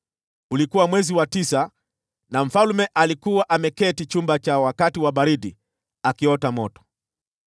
Ulikuwa mwezi wa tisa, na mfalme alikuwa ameketi chumba cha wakati wa baridi akiota moto.